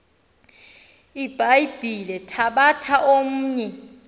ibhayibhile thabatha omnye